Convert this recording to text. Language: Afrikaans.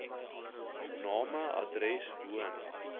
name adres woon